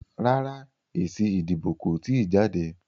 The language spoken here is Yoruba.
Rárá, èsì ìdìbò kò tíì jáde